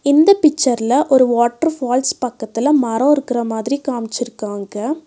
இந்த பிச்சர்ல ஒரு வாட்டர்பால்ஸ் பக்கத்துல மரோ இருக்குற மாதிரி காமிச்சி இருக்காங்க.